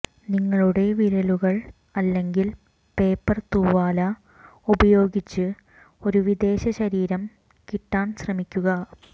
നിങ്ങളുടെ വിരലുകൾ അല്ലെങ്കിൽ പേപ്പർ തൂവാല ഉപയോഗിച്ച് ഒരു വിദേശ ശരീരം കിട്ടാൻ ശ്രമിക്കുക